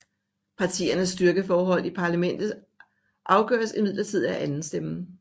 Partiernes styrkeforhold i parlamentet afgøres imidlertid af andenstemmen